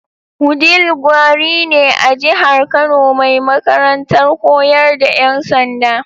Wudil gari ne a jihar Kano mai makarantar koyar da yan sanda.